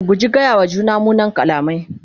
mu guji gaya wa juna munan kalamai